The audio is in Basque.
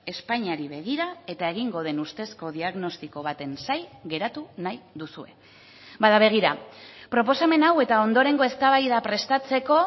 espainiari begira eta egingo den ustezko diagnostiko baten zain geratu nahi duzue bada begira proposamen hau eta ondorengo eztabaida prestatzeko